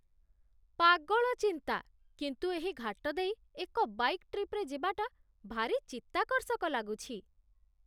ପାଗଳ ଚିନ୍ତା, କିନ୍ତୁ ଏହି ଘାଟ ଦେଇ ଏକ ବାଇକ୍ ଟ୍ରିପ୍‌ରେ ଯିବାଟା ଭାରି ଚିତ୍ତାକର୍ଷକ ଲାଗୁଛି